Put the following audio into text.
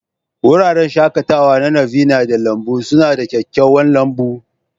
Wuraren shakatawa na Nirvana da lambun suna da kyakkyawan lambun.